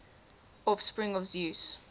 offspring of zeus